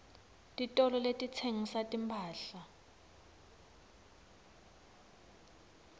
titolo letitsengisa timphahla